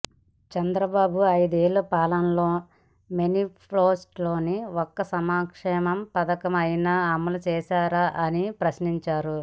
చంద్రబాబు అయిదేళ్ల పాలన లో మేనిఫెస్టో లోని ఒక్క సంక్షేమ పథకం అయినా అమలు చేశారా అని ప్రశ్నించారు